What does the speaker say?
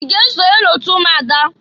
I ga esonye n'otu ụmụada?